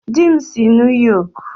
Di m si New York